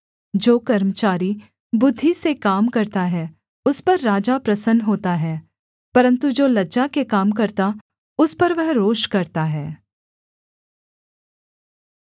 जो कर्मचारी बुद्धि से काम करता है उस पर राजा प्रसन्न होता है परन्तु जो लज्जा के काम करता उस पर वह रोष करता है